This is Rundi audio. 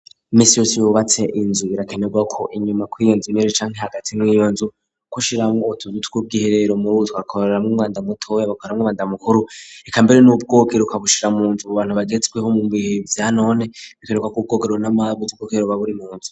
Iminsi yose iyo wubatse inzu birakenerwa ko inyuma kwiyonzu imere cani hagati niyonzu ko shiramwo utuzu twibwiherero murubutwa korora mu imwanda mutoya bukoreramwo umwabanda mukuru reka mbere n'ubwogero ukabushira munzu ubu bantu bagetsweho mugihe vyanone rikenerwa ku bwokerro n'amabuze kokeroba buri munzu.